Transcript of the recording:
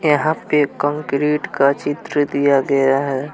यहां पे कंक्रीट का चित्र दिया गया है।